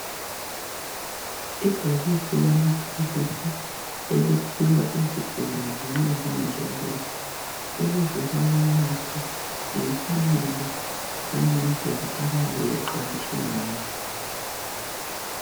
Ibhokisi lamaphilisi eliphiwa izigulane nxa zingezwa kuhle. Ukuze bawanathe ngemfanelo langendlela abayabe bexwayiswe ngayo.